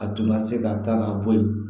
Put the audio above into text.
A tun ka se ka ta ka bɔ yen